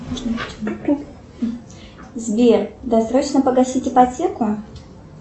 сбер досрочно погасить ипотеку